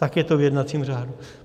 Tak je to v jednacím řádu.